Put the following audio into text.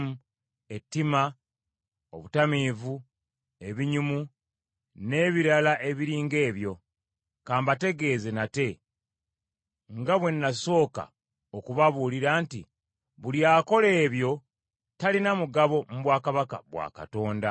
ettima, obutamiivu, ebinyumu, n’ebirala ebiri ng’ebyo. Ka mbategeeze nate nga bwe nasooka okubabuulira nti buli akola ebyo talina mugabo mu bwakabaka bwa Katonda.